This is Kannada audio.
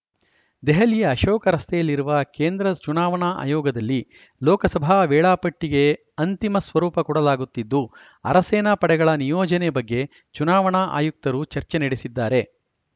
ದೆಹಲಿಯ ಅಶೋಕ ರಸ್ತೆಯಲ್ಲಿರುವ ಕೇಂದ್ರ ಚುನಾವಣಾ ಆಯೋಗದಲ್ಲಿ ಲೋಕಸಭಾ ವೇಳಾಪಟ್ಟಿಗೆ ಅಂತಿಮ ಸ್ವರೂಪ ಕೊಡಲಾಗುತ್ತಿದ್ದು ಅರೆಸೇನಾ ಪಡೆಗಳ ನಿಯೋಜನೆ ಬಗ್ಗೆ ಚುನಾವಣಾ ಆಯುಕ್ತರು ಚರ್ಚೆ ನಡೆಸಿದ್ದಾರೆ